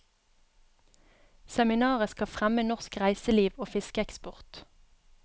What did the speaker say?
Seminaret skal fremme norsk reiseliv og fiskeeksport.